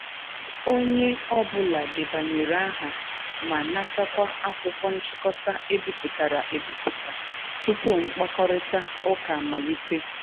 Onye ọ bụla debanyere aha ma natakwa akwụkwọ nchịkọta e bipụtara e biputa tupu mkpakorịta ụka amalite.